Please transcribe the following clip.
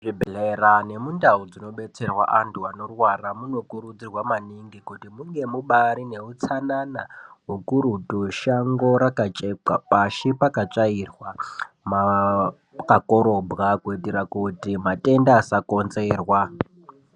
Zvibhedhlera nemundau dzino betserwa anthu anorwara munokurudzirwa maningi kuti munge mubaari neutsanana ukurutu shango raka chekwa pashi pakatsvairwa pakakorobwa kuitika kuti matenda asakongenzerwa.